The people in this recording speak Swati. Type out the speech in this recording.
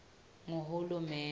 nguhulumende